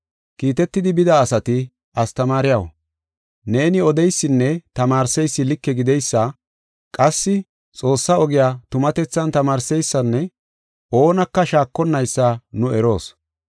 Kiitetidi bida asati, “Astamaariyaw, neeni odeysinne tamaarseysi like gideysa, qassi Xoossaa ogiya tumatethan tamaarseysanne oonaka shaakonnaysa nu eroos.